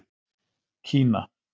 Kína